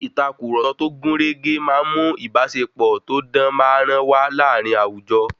Ìtàkurọ̀sọ tó gúnrégé máa ń mu ìbáṣepọ̀ tó dán máa- rán wá láàárín àwùjọ.